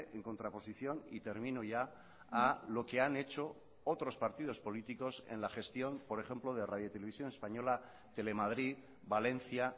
en contraposición y termino ya a lo que han hecho otros partidos políticos en la gestión por ejemplo de radio televisión española telemadrid valencia